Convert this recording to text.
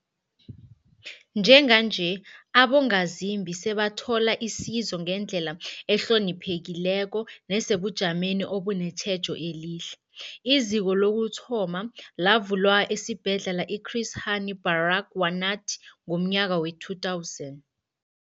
Njenganje, abongazimbi sebathola isizo ngendlela ehloniphekileko nesebujameni obunetjhejo elihle. IZiko lokuthoma lavulwa esiBhedlela i-Chris Hani Baragwanath ngomnyaka we-2000.